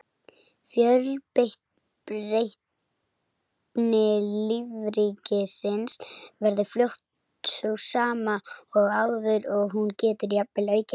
Fjölbreytni lífríkisins verður fljótt sú sama og áður og hún getur jafnvel aukist.